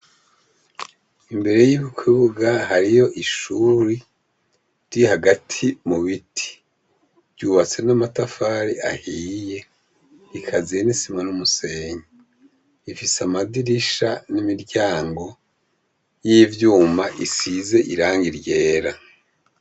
Imbere y'ibi kibuga hariyo ishuri ri hagati mu biti ryubatse n'amatafari ahiye ikazie nisima n'umusenyi ifise amadirisha n'imiryango y'ivyuma isize iranga iryera.